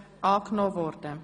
Antrag Grüne, Machado)